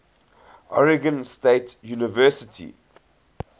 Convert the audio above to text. oregon state university